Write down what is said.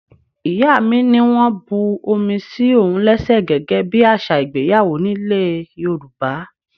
Ìyá mi ní wọ́n bu omi sí òun léṣe gẹ́gẹ́ bí àṣà ìgbéyàwó nílè Yorùbá.